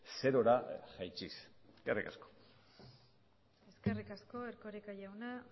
zerora jaitsiz eskerrik asko eskerrik asko erkoreka jauna